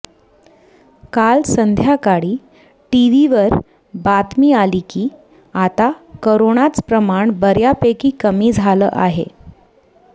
काल संध्याकाळी टिव्हीवर बातमी आली की आता करोनाच प्रमाण बऱ्यापैकी कमी झाल आहे